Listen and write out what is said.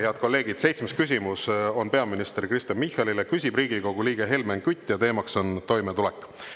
Head kolleegid, seitsmes küsimus on peaminister Kristen Michalile, küsib Riigikogu liige Helmen Kütt ja teemaks on toimetulek.